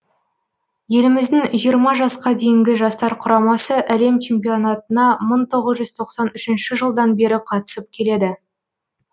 еліміздің жиырма жасқа дейінгі жастар құрамасы әлем чемпионатына мың тоғыз тоқсан үш жылдан бері қатысып келеді